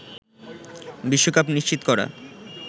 বিশ্বকাপ নিশ্চিত করা